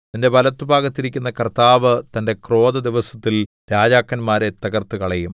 നിന്റെ വലത്തുഭാഗത്തിരിക്കുന്ന കർത്താവ് തന്റെ ക്രോധദിവസത്തിൽ രാജാക്കന്മാരെ തകർത്തുകളയും